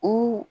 U